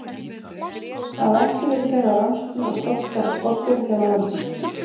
Það hafa ekki verið gerðar rannsóknir á stofnstærð skordýra hér á landi.